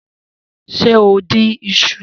Se o dín iṣu?